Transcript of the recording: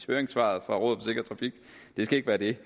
høringssvaret det skal ikke være det